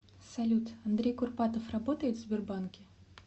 салют андрей курпатов работает в сбербанке